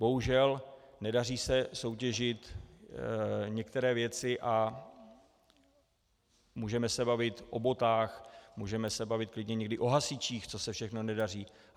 Bohužel se nedaří soutěžit některé věci, a můžeme se bavit o botách, můžeme se bavit klidně někdy o hasičích, co se všechno nedaří.